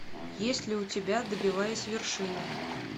есть ли у тебя добиваясь вершины